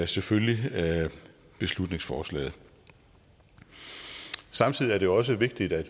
selvfølgelig beslutningsforslaget samtidig er det også vigtigt at